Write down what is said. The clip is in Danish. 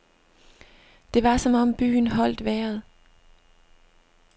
Det var som om byen holdt vejret.